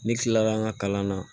Ne kilara n ka kalan na